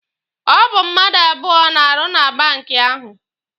Ọ bụ mmadụ abụọ na-arụ na banki ahụ.